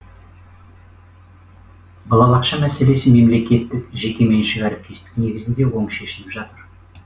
балабақша мәселесі мемлекеттік жекеменшік әріптестік негізінде оң шешіліп жатыр